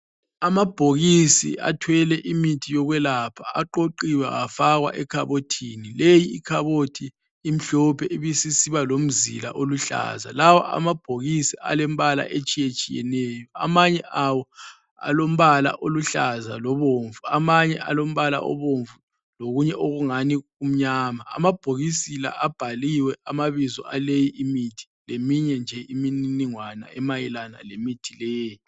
Amabhokisi athwele imithi yokwelapha. Aqoqiwe afakwa ekhabothini. Leyi ikhabothi imhlophe ibisisiba lomzila oluhlaza. Lawa amabhokisi alembala etshiyetshiyeneyo. Amanye awo alombala oluhlaza lobomvu, amanye alombala obomvu lokunye okungani kumnyama. Amabhokisi la abhaliwe amabizo aleyi imithi leminye nje iminingwane emayelana lemithi leyi.